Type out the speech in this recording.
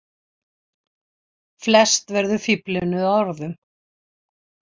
Flest verður fíflinu að orðum.